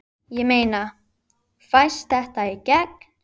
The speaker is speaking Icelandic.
Ég meina, fæst þetta í gegn?